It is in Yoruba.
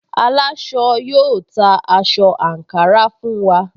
Aláṣọ yóò ta aṣọ àǹkárá fún wa